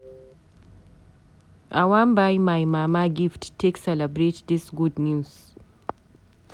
I wan buy my mama gift take celebrate dis good news.